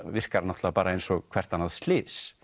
virkar náttúrulega bara eins og hvert annað slys